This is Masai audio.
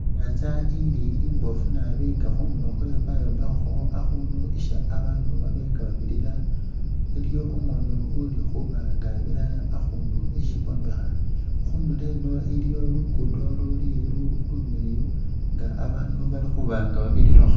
I'nyaanza ili imboofu nabi nga khundulo khwayo bayombekhako akhunu isi babaanu baba nga babirira. Iliwo umunu uli khuba nga abira akhuunu isi bombekha, khunulo eno iliyo luguudo luli lumiliyu nga abaandu bali khuba nga bairirakho.